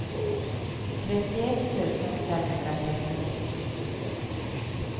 trettioett tusen femhundratrettionio